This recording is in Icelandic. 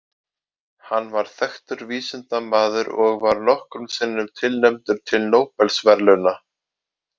Hann var þekktur vísindamaður og var nokkrum sinnum tilnefndur til Nóbelsverðlauna.